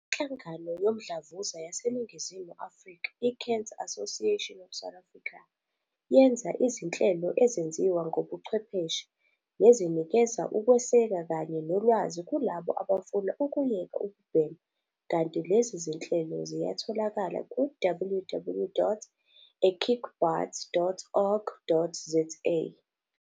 INhlangano Yomdlavuza yaseNingizimu Afrika, i-Cancer Association of South Africa, yenza izinhlelo ezenziwa ngobuchwepheshe, nezinikeza ukweseka kanye nolwazi kulabo abafuna ukuyeka ukubhema kanti lezi zinhlelo ziyatholakala ku- www.ekickbutt.org.za.